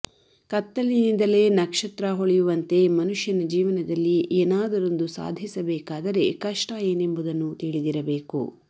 ಕತ್ತಲಿನಿಂದಲೇ ನಕ್ಷತ್ರ ಹೊಳೆಯುವಂತೇ ಮನುಷ್ಯನ ಜೀವನದಲ್ಲಿ ಏನಾದರೊಂದು ಸಾಧಿಸಬೇಕಾದರೆ ಕಷ್ಟ ಏನೆಂಬುದನ್ನು ತಿಳಿದಿರಬೇಕು